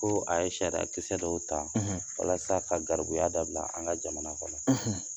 Ko a ye sariyakisɛsɛ dɔw ta walasa, ka garibuya dabila an ka jamana kɔnɔ.